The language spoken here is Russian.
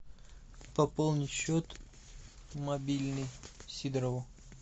пополнить счет мобильный сидорову